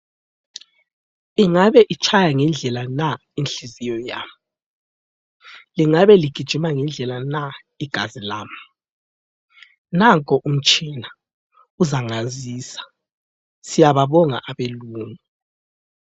Ingabe itshaya ngendlela na inhliziyo yami? Iingabe ligijima ngendlela na igazi lami? Nanko umtshina uzangazisa. Siyababonga abelungu.